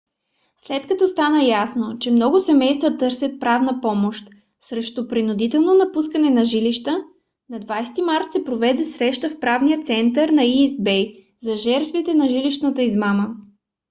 след като стана ясно че много семейства търсят правна помощ срещу принудителното напускане на жилища на 20-и март се проведе среща в правния център на ийст бей за жертвите на жилищната измама